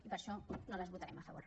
i per això no les votarem a favor